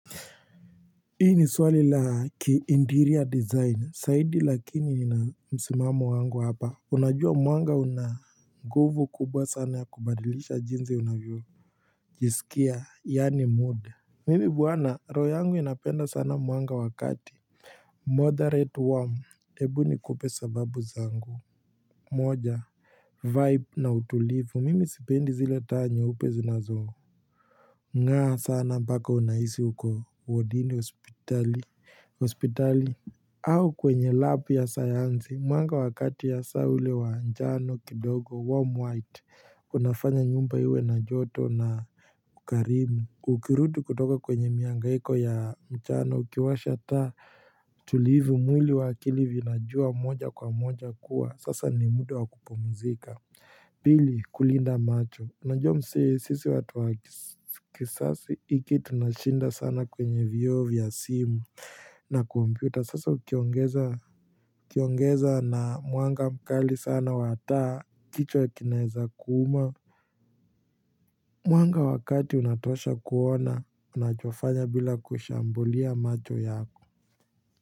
Hii ni swali la ki interior design zaidi lakini nina msimamo wangu hapa unajua mwanga unanguvu kubwa sana ya kubadilisha jinsi unavyo jisikia yaani mood mimi bwana roho yangu inapenda sana mwanga wa kati moderate warm ebu nikupe sababu zangu moja vibe na utulivu mimi sipendi zile taa nyeupe zinazo Nga sana mpaka unahisi uko wadini hospitali au kwenye lab ya sayansi Mwanga wakati ya saa ule wanjalo kidogo Warm white Unafanya nyumba iwe na joto na ukarimu Ukirudi kutoka kwenye miangaiko ya mchana Ukiwasha taa tulivu mwili wa akili vinajua moja kwa moja kuwa Sasa ni mda wa kupumzika Pili, kulinda macho. Najua msee sisi watu wa kisasi hiki tunashinda sana kwenye vioo vya simu na kompyuta, sasa kiongeza ukiongeza na mwanga mkali sana wa taa kichwa kinaweza kuuma. Mwanga wakati unatosha kuona unachofanya bila kushambulia macho yako.